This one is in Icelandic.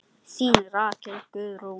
Þín Rakel Guðrún.